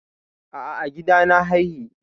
A'a, a gida na haihi.